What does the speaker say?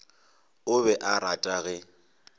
o be a rata ge